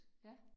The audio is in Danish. Ja